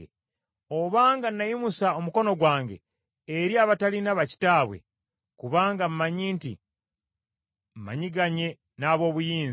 obanga nayimusa omukono gwange eri abatalina bakitaabwe, kubanga mmanyi nti, mmanyiganye n’ab’obuyinza,